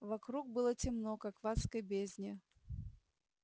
вокруг было темно как в адской бездне